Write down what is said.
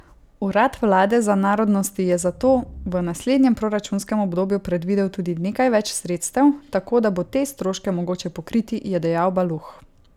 Urad vlade za narodnosti je za to v naslednjem proračunskem obdobju predvidel tudi nekaj več sredstev, tako da bo te stroške mogoče pokriti, je dejal Baluh.